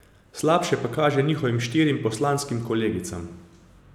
Slabše pa kaže njihovim štirim poslanskim kolegicam.